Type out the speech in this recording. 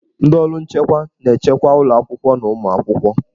Ndị ọrụ nchekwa na-echekwa ụlọ akwụkwọ na ụmụ akwụkwọ.